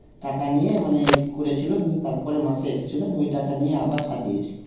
টাকা নিয়ে মানে করেছিল নিয়ে তার পরের মাসে এসেছিলো নিয়ে ওই টাকা নিয়ে আবার ছাড় দিয়েছিলো